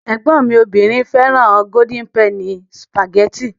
Ẹ̀gbọ́n mi obìnrin fẹ́ràn Golden penny sìpàgẹ́tì.